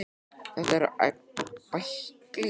Þetta eru bæklingar um íslenska náttúru handa ferðamönnum.